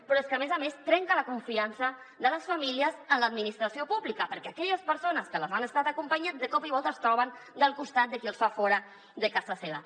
però és que a més a més trenca la confiança de les famílies en l’administració pública perquè aquelles persones que les han estat acompanyant de cop i volta es troben del costat de qui els fa fora de casa seva